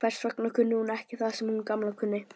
Hvers vegna kunni hún ekki það sem sú Gamla kunni?